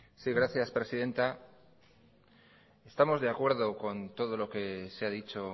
sí gracias presidenta estamos de acuerdo con todo lo que se ha dicho